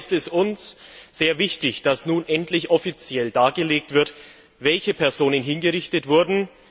Von daher ist es uns sehr wichtig, dass nun endlich offiziell dargelegt wird, welche Personen hingerichtet wurden.